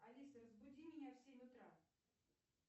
алиса разбуди меня в семь утра